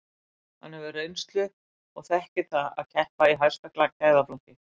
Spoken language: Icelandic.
Hann hefur reynslu og þekkir það að keppa í hæsta gæðaflokki.